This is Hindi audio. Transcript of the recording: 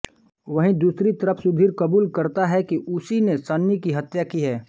वहीं दूसरी तरफ सुधीर कबूल करता है कि उसी ने सनी की हत्या की है